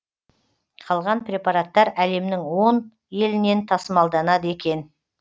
қалған препараттар әлемнің он елінен тасымалданады екен